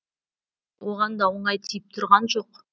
оған да оңай тиіп тұрған жоқ